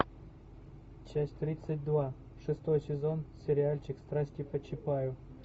часть тридцать два шестой сезон сериальчик страсти по чапаю